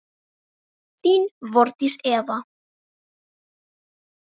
Þín, Þórdís Eva.